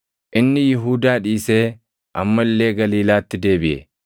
Inni Yihuudaa dhiisee amma illee Galiilaatti deebiʼe.